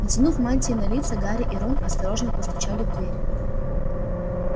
натянув мантии на лица гарри и рон осторожно постучали в дверь